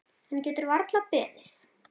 Hann getur varla beðið.